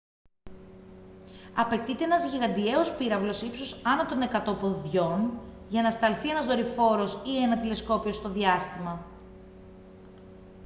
απαιτείται ένας γιγαντιαίος πύραυλος ύψους άνω των 100 ποδιών για να σταλθεί ένα δορυφόρος ή ένα τηλεσκόπιο στο διάστημα